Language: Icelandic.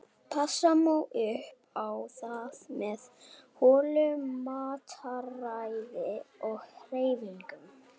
Passa má upp á það með hollu mataræði og hreyfingu.